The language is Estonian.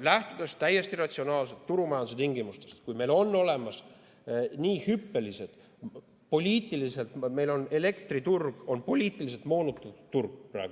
Lähtudes täiesti ratsionaalselt turumajanduse tingimustest, arvestades, et elektriturg on praegu reaalsuses poliitiliselt moonutatud turg